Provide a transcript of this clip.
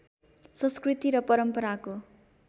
संस्कृति र परम्पराको